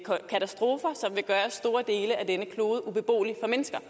katastrofer som vil gøre store dele af denne klode ubeboelig for mennesker